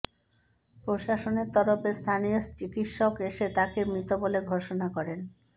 প্রশাসনের তরফে স্থানীয় চিকিৎসক এসে তাঁকে মৃত বলে ঘোষণা করেন